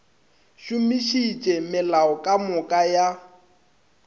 šomišitše melao ka moka ya